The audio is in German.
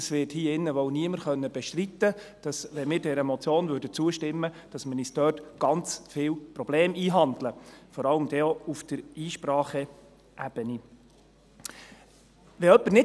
Es wird hier drin wohl niemand bestreiten können, dass wir uns ganz viele Probleme einhandeln, wenn wir dieser Motion zustimmen, vor allem auf der Ebene der Einsprachen.